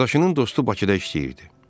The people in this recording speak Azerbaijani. Qardaşının dostu Bakıda işləyirdi.